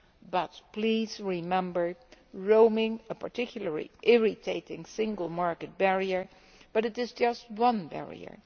But please remember roaming is a particularly irritating single market barrier, but it is just one barrier.